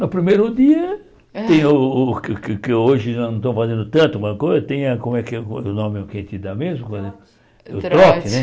No primeiro dia, tem o o que que hoje não estou fazendo tanto, o nome que a gente dá mesmo, o trote né.